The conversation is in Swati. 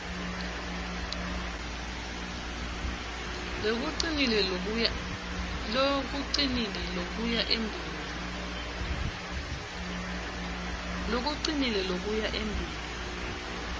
lokucinile lokuya embili